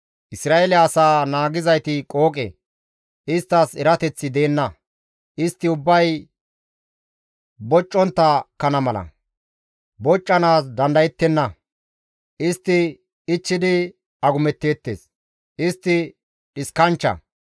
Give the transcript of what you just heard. Isra7eele asaa naagizayti qooqe; isttas erateththi deenna istti ubbay boccontta kana mala; boccanaas dandayettenna; istti ichchidi agumetteettes; istti dhiskanchcha.